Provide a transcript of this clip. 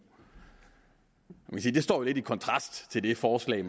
det står jo lidt i kontrast til det forslag